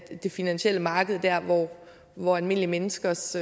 det finansielle marked der hvor almindelige menneskers